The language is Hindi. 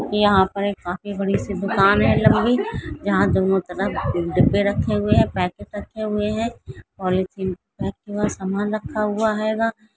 यहाँ पर काफी बड़ी -सी दुकान है लंबी जहाँ दोनों तरफ डिब्बे रखे हुये है पैकिट रखे हुये पोलिथीन पेक हुआ समान रखा हुआ हैगा।